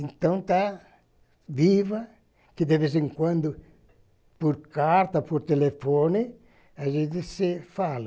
Então tá viva, que de vez em quando, por carta, por telefone, a gente se fala.